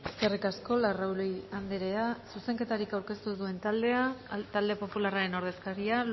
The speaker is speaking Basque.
eskerrik asko larrauri andrea zuzenketarik aurkeztu duen taldea talde popularraren ordezkaria